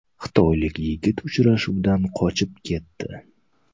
Xitoylik yigit uchrashuvdan qochib ketdi.